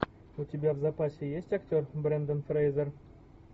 у тебя в запасе есть актер брендан фрейзер